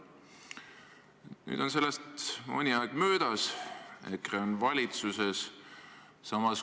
" Nüüd on sellest mõni aeg möödas, EKRE on valitsuses.